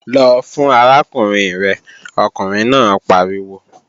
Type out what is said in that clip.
Lọ fún arákùnrin rẹ̀, ọkùnrin náà pariwo!